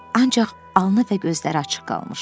Ancaq alnı və gözləri açıq qalmışdı.